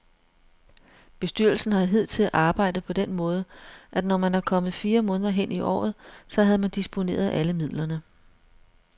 Bestyrelsen har hidtil arbejdet på den måde, at når man var kommet fire måneder hen i året, så havde man disponeret alle midlerne.